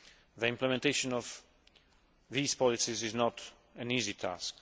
The implementation of these policies is not an easy task.